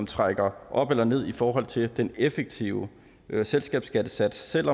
trækker op eller ned i forhold til den effektive selskabsskattesats selv